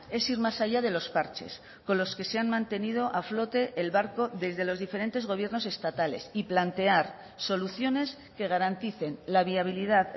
es ir más allá de los parches con los que se han mantenido a flote el barco desde los diferentes gobiernos estatales y plantear soluciones que garanticen la viabilidad